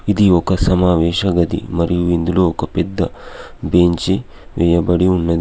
ఇది ఒక సమావేశ గది. మరియు ఇందులో ఒక పెద్ద బెంచీ వేయబడి ఉన్నది.